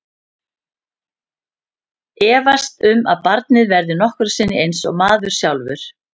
Efast um að barnið verði nokkru sinni eins og maður sjálfur.